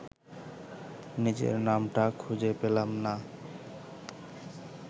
নিজের নামটা খুঁজে পেলাম না